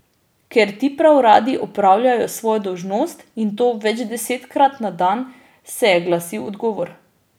Ker ti prav radi opravljajo svojo dolžnost, in to večdesetkrat na dan, se je glasil odgovor.